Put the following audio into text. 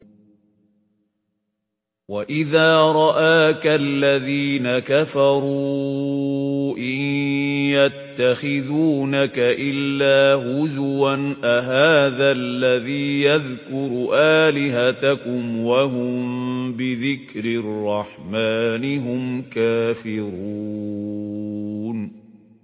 وَإِذَا رَآكَ الَّذِينَ كَفَرُوا إِن يَتَّخِذُونَكَ إِلَّا هُزُوًا أَهَٰذَا الَّذِي يَذْكُرُ آلِهَتَكُمْ وَهُم بِذِكْرِ الرَّحْمَٰنِ هُمْ كَافِرُونَ